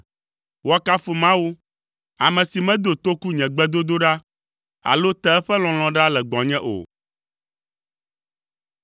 Woakafu Mawu, ame si medo toku nye gbedodoɖa, alo te eƒe lɔlɔ̃ ɖa le gbɔnye o!